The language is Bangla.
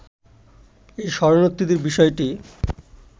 এই শরণার্থীদের বিষয়টি